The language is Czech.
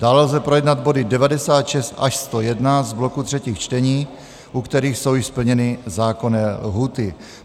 Dále lze projednat body 96 až 101 z bloku třetích čtení, u kterých jsou již splněny zákonné lhůty.